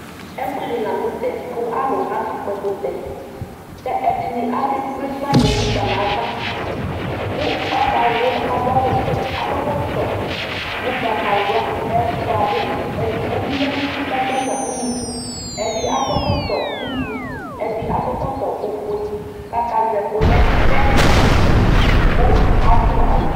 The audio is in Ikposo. Ɛfʋɛdi lanʋ tɛ kʋ alʋ akakpɔ ɛkʋtɛ kʋ ɛdini akekple paniɛ mʋfa nʋ ava kʋ akawlɔ adʋ awʋvɛ akɔ ɛkʋtɔ ʋgbatawla edigbo bi yanʋ uti kʋ agbanya ʋnʋkʋ ɛdi akɔ ɛkɔtɔ iblʋ ɛdi akɔ ɛkɔtɔ ofue kʋ akazɛ ɛkʋlɛ kʋ ɛdi dʋ ʋdʋ